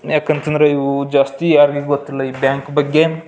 ಯಾಕಂತ ಅಂದ್ರೆ ಜಾಸ್ತಿ ಯಾರಿಗೂ ಗೊತ್ತಿಲ್ಲ ಈ ಬ್ಯಾಂಕ್ ಬಗ್ಗೆ.